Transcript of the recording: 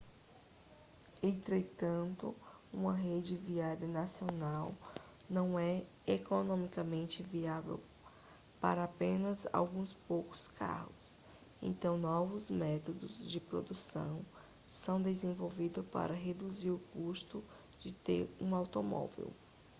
entretanto um rede viária nacional não é economicamente viável para apenas alguns poucos carros então novos métodos de produção são desenvolvidos para reduzir o custo de ter um automóvel